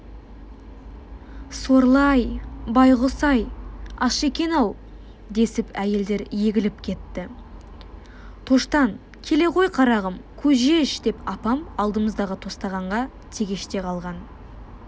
сорлы-ай байқұс-ай аш екен-ау десіп әйелдер егіліп кетті тоштан келе ғой қарағым көже іш деп апам алдымыздағы тостағанға тегеште қалған